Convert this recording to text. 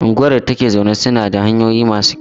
Unguwar da ta ke zaune tana da hanyoyi masu kyau.